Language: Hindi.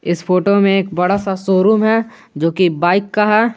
इस फोटो में एक बड़ा सा शोरूम है जो की बाइक का है।